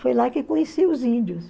Foi lá que conheci os índios.